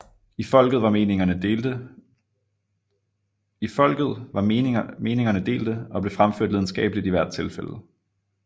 I folket var meningerne delte og blev fremført lidenskabeligt i hvert tilfælde